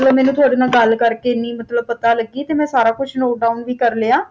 ਮੈਨੂੰ ਤੁਹਾਡੇ ਨਾਲ ਗੱਲ ਕਰ ਕੇ ਪਤਾ ਤੇ ਮੈਂ ਸਾਰਾ ਕੁਝ note down ਵੀ ਕੇ ਲਿਆ